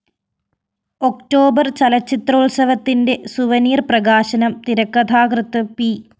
October‍ ചലച്ചിത്രോത്സവത്തിന്റെ souvenir പ്രകാശനം തിരക്കഥാകൃത്ത് പി